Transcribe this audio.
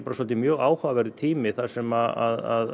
mjög áhugaverður tími þar sem